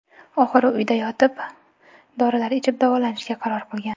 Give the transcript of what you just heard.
Oxiri uyda yotib, dorilar ichib davolanishga qaror qilgan.